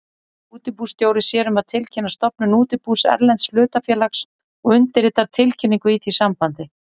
Útibússtjóri sér um að tilkynna stofnun útibús erlends hlutafélags og undirritar tilkynningu í því sambandi.